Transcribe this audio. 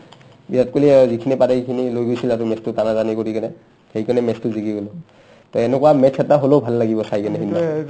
বিৰাট কোহলি আ যিখিনি পাৰে সিখিনি লৈ গৈছিল আৰু match টো টানাটানি কৰি কিনে সেইকাৰণে match টো জিকি গ'ল to এনেকুৱা match এটা হ'লেও ভাল লাগিব চাই কিনে